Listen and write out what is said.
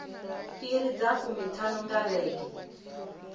iri dza fumiṱhanu nga vhege